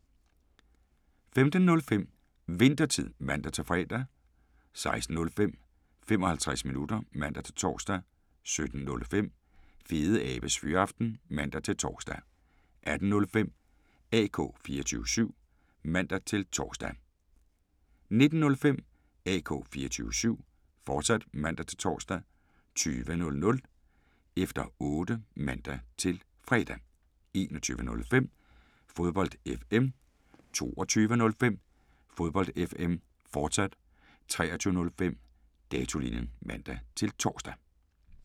15:05: Winthertid (man-fre) 16:05: 55 minutter (man-tor) 17:05: Fedeabes Fyraften (man-tor) 18:05: AK 24syv (man-tor) 19:05: AK 24syv, fortsat (man-tor) 20:05: Efter Otte (man-fre) 21:05: Fodbold FM 22:05: Fodbold FM, fortsat 23:05: Datolinjen (man-tor)